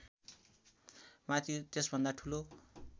माथि त्यसभन्दा ठुलो